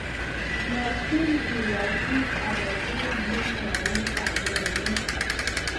nyoljiin iyai kiit agetugul nemwoun kameng'uny